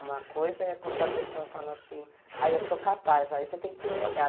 Uma coisa é quando a pessoa fala assim, aí eu sou capaz, aí você tem que ter um olhar.